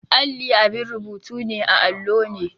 Alli abin rubutu ne a allo ne.